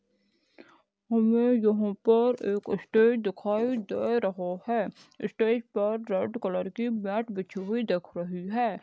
हमे यहाँ पर एक स्टेज दिखाई दे रहा है। स्टेज पर रेड कलर की मैट बिछी हुई दिख रही है।